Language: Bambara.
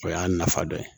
O y'a nafa dɔ ye